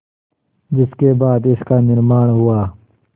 जिसके बाद इसका निर्माण हुआ